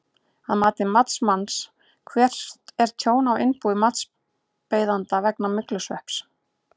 Að mati matsmanns, hvert er tjón á innbúi matsbeiðanda vegna myglusvepps?